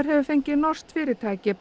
hefur fengið norskt fyrirtæki